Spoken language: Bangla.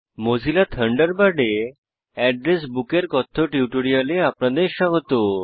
মোজিলা থান্ডারবার্ডে অ্যাড্রেস Bookএড্রেস বুক এর কথ্য টিউটোরিয়ালে আপনাদের স্বাগত